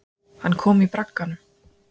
Hann kom í bragganum.